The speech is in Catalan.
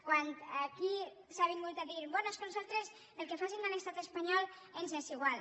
quan aquí s’ha vingut a dir bé és que a nosaltres el que facin a l’estat espanyol ens és igual